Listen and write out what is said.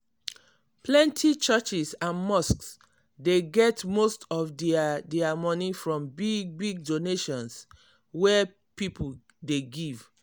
plenty churches and mosques dey get most of dia dia money from big big donations wey people dey give.